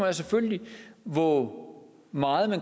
er selvfølgelig hvor meget